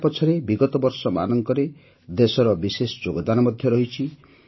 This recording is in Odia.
ୟା ପଛରେ ବିଗତ ବର୍ଷମାନଙ୍କରେ ଦେଶର ବିଶେଷ ଯୋଗଦାନ ମଧ୍ୟ ରହିଛି